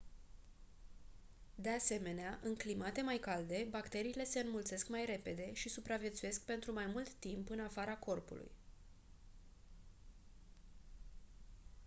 de asemenea în climate mai calde bacteriile se înmulțesc mai repede și supraviețuiesc pentru mai mult timp în afara corpului